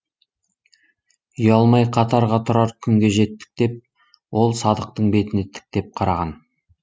ұялмай қатарға тұрар күнге жеттік деп ол садықтың бетіне тіктеп қараған